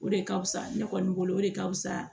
O de ka fusa ne kɔni bolo o de ka fusa